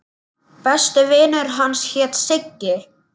Besti vinur hans hét Siggi.